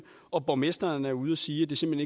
og borgmesteren er ude at sige at det simpelt